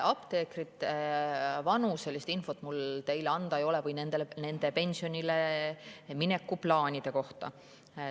Apteekrite vanuselist infot mul teile anda ei ole või nende pensionile mineku plaanide kohta.